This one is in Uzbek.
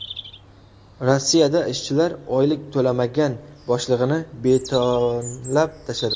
Rossiyada ishchilar oylik to‘lamagan boshlig‘ini betonlab tashladi.